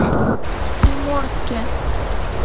приморске